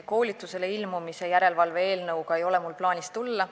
Koolitusele ilmumise järelevalve eelnõuga ei ole mul plaanis siia tulla.